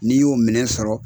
N'i y'o minɛ sɔrɔ